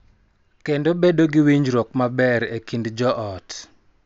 Kendo bedo gi winjruok maber e kind joot.